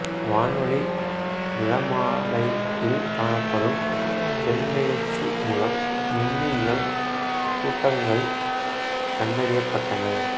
வானொலி நிறமாலையில் காணப்படும் செம்பெயர்ச்சி மூலம் விண்மீன் கூட்டங்கள் கண்டறியப்பட்டன